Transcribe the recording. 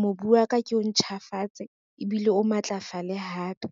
mobu wa ka ke o ntjhafatse ebile o matlafale hape.